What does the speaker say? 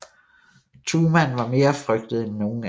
Thumann var mere frygtet end nogen anden